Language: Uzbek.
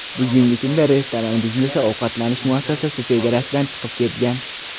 Bugungi kunda restoran biznesi ovqatlanish muassasasi chegarasidan chiqib ketgan.